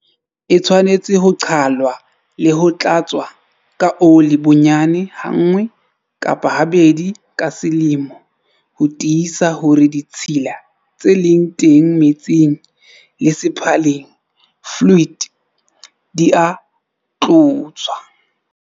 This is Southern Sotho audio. E tshwanetse ho qhalwa le ho tlatswa ka ole bonyane hanngwe kapa ha bedi ka selemo ho tiisa hore ditshila tse leng teng metsing le sephalling, fluid, di a tloswa.